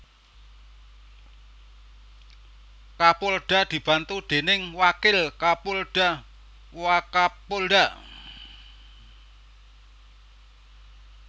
Kapolda dibantu déning Wakil Kapolda Wakapolda